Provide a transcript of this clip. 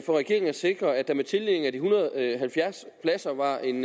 regeringen at sikre at der med tildelingen af de en hundrede og halvfjerds pladser var en